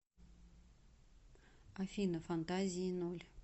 афина фантазии ноль